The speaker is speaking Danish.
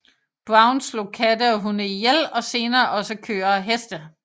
Brown slog katte og hunde ihjel og senere også køer og heste